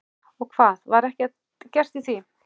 Og hvað, var ekkert gert í því?